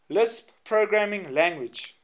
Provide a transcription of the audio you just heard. lisp programming language